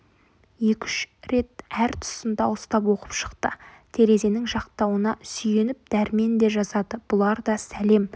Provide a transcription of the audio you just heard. екі-үш рет әр тұсын дауыстап оқып шықты терезенің жақтауына сүйеніп дәрмен де жазады бұлар да сәлем